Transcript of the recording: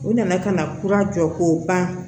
U nana ka na kura jɔ k'o ban